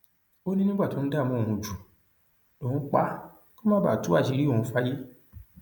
ó ní nígbà tó ń dààmú òun jù lòun pa á kó má bàa tú àṣírí òun fáyé